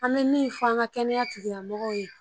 An bɛ min f'an ka kɛnɛya tigila mɔgɔw ye